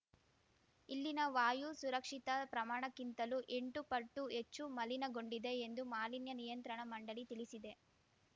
ಇಲ್ಲಿನ ವಾಯು ಸುರಕ್ಷಿತ ಪ್ರಮಾಣಕ್ಕಿಂತಲೂ ಎಂಟು ಪಟ್ಟು ಹೆಚ್ಚು ಮಲಿನಗೊಂಡಿದೆ ಎಂದು ಮಾಲಿನ್ಯ ನಿಯಂತ್ರಣ ಮಂಡಳಿ ತಿಳಿಸಿದೆ